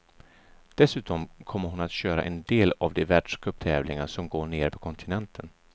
Dessutom kommer hon att köra en del av de världscuptävlingar som går nere på kontinenten.